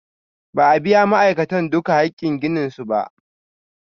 Ba a biya ma'aikatan duka hakin ginin su ba.